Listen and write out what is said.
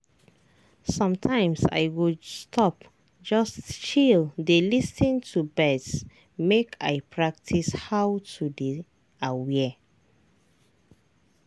sometimes i go stop just chill dey lis ten to birds make i practice how to dey aware.